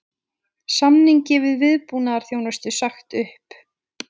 Samningi um viðbúnaðarþjónustu sagt upp